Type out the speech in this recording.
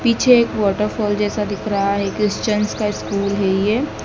पीछे एक वॉटरफॉल जैसा दिख रहा है एक क्रिश्चियन का स्कूल है ये--